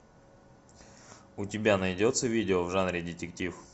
у тебя найдется видео в жанре детектив